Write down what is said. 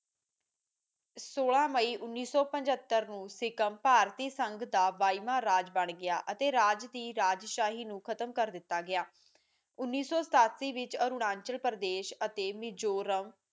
ਸੋਲਾਂ ਮਈ ਉਨੀ ਸੋ ਪਝੱਤਰ ਨੂੰ ਸਿਖਮ ਭਾਰਤੀ ਸੰਗ ਦਾ ਬਾਈਵਾ ਰਾਜ ਬਣ ਗਿਆ ਅਤੇ ਰਾਜ ਦੀ ਰਾਜਸ਼ਾਹੀ ਨੂੰ ਖਤਮ ਕਰ ਦਿਤਾ ਗਇਆ ਉਨੀ ਸੋ ਸਤਾਸੀ ਵਿਚ ਅਨੁਰਾਚਾਲ ਪ੍ਰਦੇਸ਼ ਵਿੱਚ ਨਜੋਰਮ